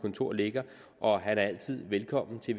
kontor ligger og han er altid velkommen til